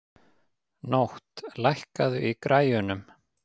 Nótt, lækkaðu í græjunum.